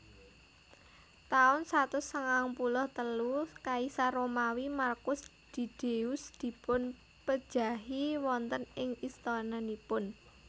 Taun satus sangang puluh telu Kaisar Romawi Markus Didius dipunpejahi wonten ing istananipun